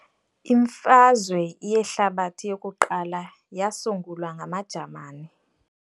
Imfazwe yehlabathi yokuqala yasungulwa ngamaJamani.